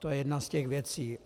To je jedna z těch věcí.